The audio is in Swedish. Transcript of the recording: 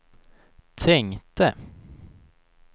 tänkte